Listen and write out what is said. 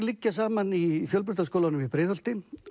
liggja saman í Fjölbrautaskólanum í Breiðholti